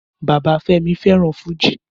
Bàbá Femi fẹ́ràn fújì